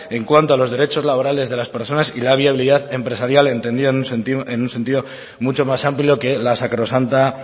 en cuanto a los derechos laborales de las personas y la viabilidad empresarial entendida en un sentido mucho más amplio que la sacrosanta